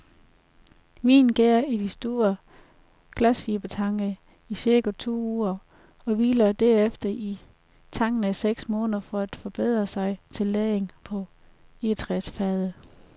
Vinen gærer i de store glasfibertanke i cirka to uger, og hviler derefter i tankene seks måneder for at forberede sig til lagringen på egetræsfade.